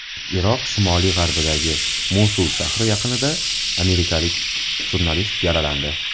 Iroq shimoli-g‘arbidagi Mosul shahri yaqinida amerikalik jurnalist yaralandi.